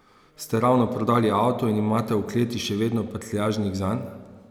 Ste ravno prodali avto in imate v kleti še vedno prtljažnik zanj?